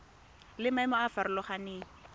le maemo a a farologaneng